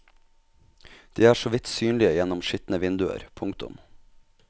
De er så vidt synlige gjennom skitne vinduer. punktum